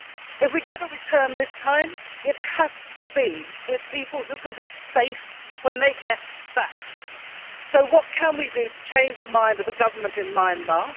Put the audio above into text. If we get a return this time it has to be with people who can be safe when they get back. So what can we do to change the mind of the government in Myanmar?